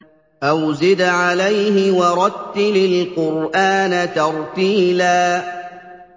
أَوْ زِدْ عَلَيْهِ وَرَتِّلِ الْقُرْآنَ تَرْتِيلًا